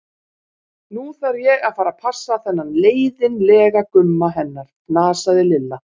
Nú þarf ég að fara að passa þennan leiðin- lega Gumma hennar, fnasaði Lilla.